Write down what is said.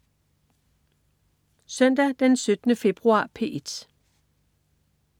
Søndag den 17. februar - P1: